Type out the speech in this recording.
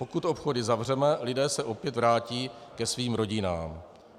Pokud obchody zavřeme, lidé se opět vrátí ke svým rodinám.